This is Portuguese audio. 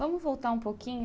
Vamos voltar um pouquinho?